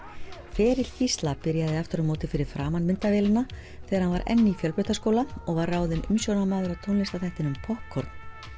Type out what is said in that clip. ferill Gísla byrjaði aftur á móti fyrir framan myndavélina þegar hann var enn í fjölbrautaskóla og var ráðinn umsjónarmaður að tónlistarþættinum poppkorn